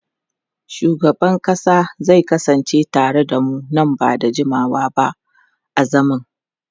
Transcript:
Shugaban kasa zai kasance tare da mu nan ba da jimawa ba a zaman.